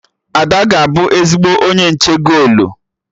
Ada ga-abụ ezigbo onye nche golu